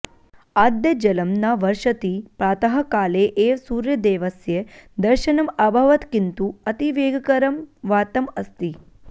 अद्य जलं न वर्षति प्रातःकाले एव सूर्यदेवस्य दर्शनम् अभवत् किन्तु अतिवेगकरं वातम् अस्ति